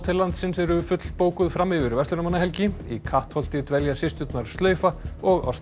landsins eru fullbókuð fram yfir verslunarmannahelgi í Kattholti dvelja systurnar slaufa og